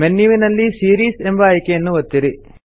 menu ನಲ್ಲಿ series ಎಂಬ ಆಯ್ಕೆಯನ್ನು ಒತ್ತಿರಿ